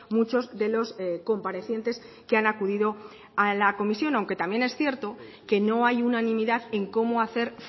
muchos de los comparecientes que han acudido a la comisión aunque también es cierto que no hay unanimidad en cómo hacer